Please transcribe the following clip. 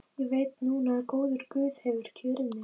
Ég veit núna að góður guð hefur kjörið mig.